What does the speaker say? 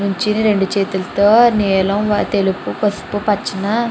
నుంచుని రెండు చేతులతో నీలం తెలుపు పసుపు పచ్చనా --